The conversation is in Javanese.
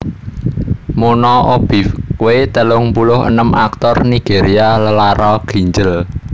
Muna Obiekwe telung puluh enem aktor Nigéria lelara ginjel